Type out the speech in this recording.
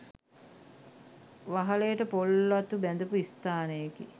වහලයට පොල් අතු බැඳපු ස්ථානයකි.